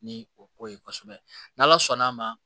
Ni o ko ye kosɛbɛ n' ala sɔnn'a ma